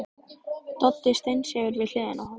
Doddi steinsefur við hliðina á honum.